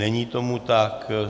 Není tomu tak.